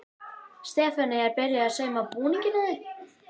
Stefanía er byrjuð að sauma búning á þig.